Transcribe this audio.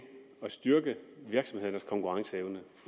at styrke virksomhedernes konkurrenceevne